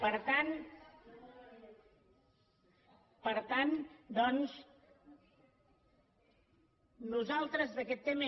per tant doncs nosaltres d’aquest tema